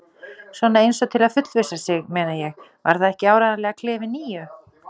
Svona eins og til að fullvissa sig, meina ég: Var það ekki áreiðanlega klefi níu?